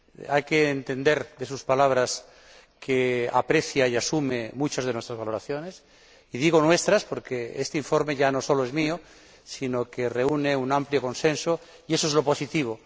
Hay que deducir de sus palabras que aprecia y asume muchas de nuestras valoraciones, y digo nuestras porque este informe ya no solo es mío, sino que reúne un amplio consenso, y eso es lo positivo.